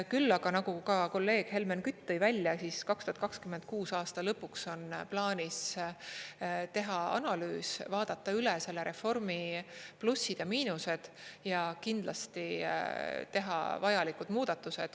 Küll aga, nagu ka kolleeg Helmen Kütt tõi välja, 2026. aasta lõpuks on plaanis teha analüüs, vaadata üle selle reformi plussid ja miinused ning kindlasti teha vajalikud muudatused.